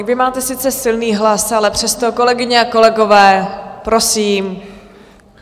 Vy máte sice silný hlas, ale přesto, kolegyně a kolegové, prosím.